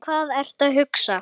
Hvað ertu að hugsa?